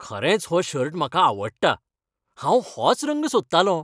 खरेंच हो शर्ट म्हाका आवडटा. हांव होच रंग सोदतालों.